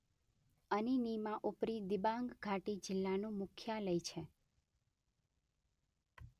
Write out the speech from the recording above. અનીનીમાં ઉપરી દિબાંગ ઘાટી જિલ્લાનું મુખ્યાલય છે.